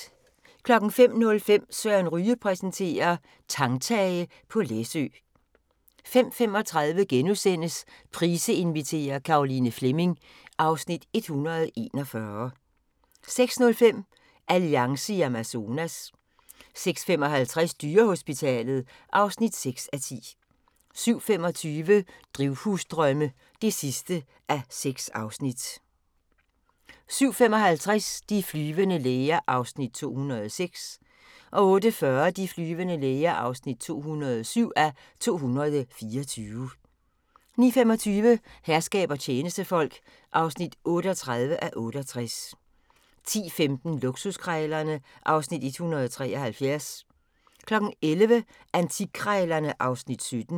05:05: Søren Ryge præsenterer: Tangtage på Læsø 05:35: Price inviterer - Caroline Fleming (Afs. 141)* 06:05: Alliance i Amazonas 06:55: Dyrehospitalet (6:10) 07:25: Drivhusdrømme (6:6) 07:55: De flyvende læger (206:224) 08:40: De flyvende læger (207:224) 09:25: Herskab og tjenestefolk (38:68) 10:15: Luksuskrejlerne (Afs. 173) 11:00: Antikkrejlerne (Afs. 17)